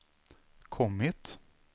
kommit